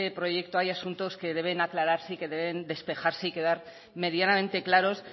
proyecto hay asuntos que deben aclararse y que deben despejarse y quedar medianamente claros